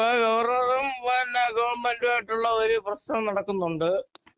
ഇപ്പൊ ഗവർണറും ഗവൺമെന്റുമായിട്ടുള്ള ഒരു പ്രശ്നം നടക്കുന്നുണ്ട്